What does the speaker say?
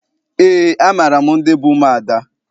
Eé, amaara m ndị bụ ụmụada.